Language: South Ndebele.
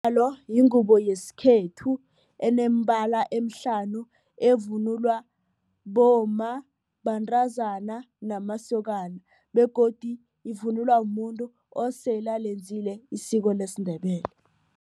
yingubo yesikhethu eneembala eemhlanu evunulwa bomma, bantazana, namasokana begodu ivunulwa muntu osele alenzile isiko lesiNdebele.